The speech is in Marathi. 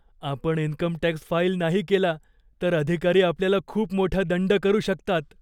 आपण इन्कम टॅक्स फाईल नाही केला, तर अधिकारी आपल्याला खूप मोठा दंड करू शकतात.